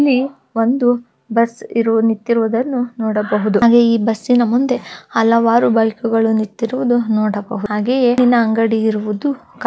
ಇಲ್ಲಿ ಒಂದು ಬಸ್ ಇರುವುದು ನಿಂತಿರುವುದನ್ನು ನೋಡಬಹುದು ಹಾಗೆ ಈ ಬಸ್ ನ ಮುಂದೆ ಹಲವಾರು ಬೈಕ್ ಗಳು ನಿಂತಿರುವುದು ನೋಡಬಹುದು ಹಾಗೆಯೆ ಹಣ್ಣಿನ ಅಂಗಡಿ ಇರುವುದು--